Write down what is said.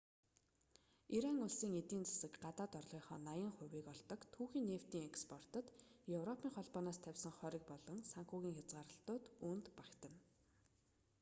иран улсын эдийн засаг гадаадын орлогынхоо 80%-ийг олдог түүхий нефтийн экспортод европийн холбооноос тавьсан хориг болон санхүүгийн хязгаарлалтууд үүнд багтана